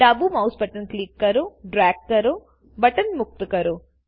ડાબું mouse button click કરો drag કરોબટન મુક્ત કરો